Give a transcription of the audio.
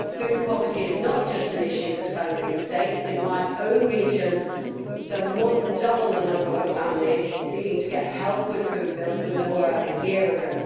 Food poverty is not just an issue for developing states, in my own region there are more than double the number of families needing help with food bills than there were a year ago.